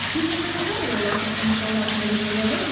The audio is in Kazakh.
келесі мысал ол атақты мысалдардың бірі деп ойлаймын